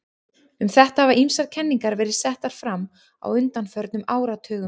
Um þetta hafa ýmsar kenningar verið settar fram á undanförnum áratugum.